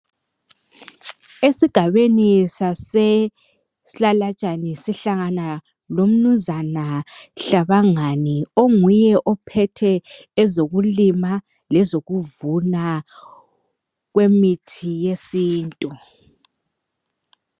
Esigabeni sase Silalatshane sihlangana lomnumzana Hlabangani onguye ophethe ngezokulima lezokuvuna kwemithi yesintu.